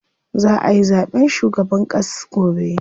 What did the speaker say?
Za ayi zaɓen shugaban ƙass gobe.